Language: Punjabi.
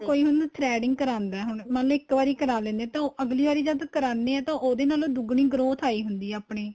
ਕੋਈ ਹੁਣ threading ਕਰਾਦਾਂ ਹੁਣ ਮੰਨਲੋ ਇੱਕ ਵਾਰੀ ਕਰਾਹ ਲੈਣੇ ਹਾਂ ਤਾਂ ਉਹ ਅੱਗਲੀ ਵਾਰੀ ਕਰਾਨੇ ਆਂ ਤੇ ਉਹਦੇ ਨਾਲੋਂ ਦੁੱਗਣੀ growth ਆਈ ਹੁੰਦੀ ਏ ਆਪਣੇਂ